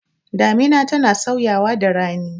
Damina tana sauyawa da rani.